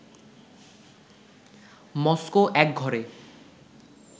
Moscow একঘরে